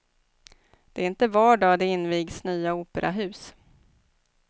Det är inte var dag det invigs nya operahus.